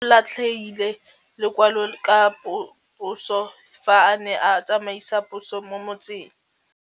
Raposo o latlhie lekwalô ka phosô fa a ne a tsamaisa poso mo motseng.